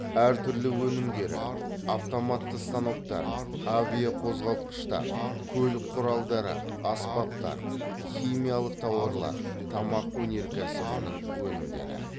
әр түрлі өнімдері автоматты станоктар авиақозғалтқыштар көлік құралдары аспаптар хим тауарлар тамақ өнеркәсібінің өнімдері